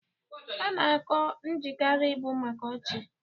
Ana kọọ Njakịrị bụ maka ọchị.